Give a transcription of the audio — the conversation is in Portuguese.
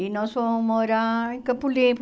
E nós fomos morar em Campo Limpo.